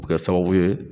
Bɛ kɛ sababu ye